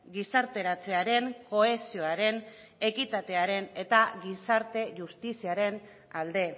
gizarteratzearen kohesioaren ekitatearen eta gizarte justiziaren alde